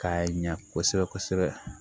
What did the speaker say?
K'a ɲa kosɛbɛ kosɛbɛ